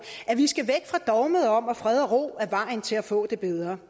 at vi skal væk fra dogmet om at fred og ro er vejen til at få det bedre